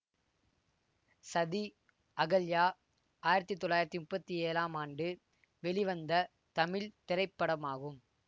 சதி அகல்யா ஆயிரத்தி தொள்ளாயிரத்தி முப்பத்தி ஏழாம் ஆண்டு வெளிவந்த தமிழ் திரைப்படமாகும்